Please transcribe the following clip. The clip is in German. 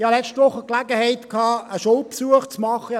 Ich hatte letzte Woche die Gelegenheit, einen Schulbesuch zu machen.